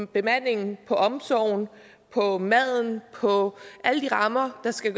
bemandingen på omsorgen på maden og på alle de rammer der skal